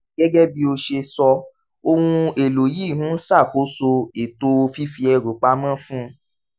gẹ́gẹ́ bí ó ṣe sọ ohun èlò yìí ń ṣàkóso ètò fífi ẹrù pa mọ́ fún